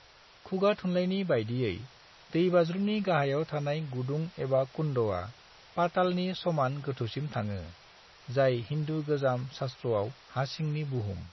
खुगाथुनलायनि बायदियै, दैबाज्रुमनि गाहायाव थानाय गुदुं एबा कुंडआ पातालनि समान गोथौसिम थाङो, जाय हिन्दु गोजाम सास्थ्रआव हासिंनि बुहुम।